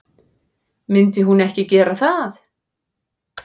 Myndi hún ekki gera það?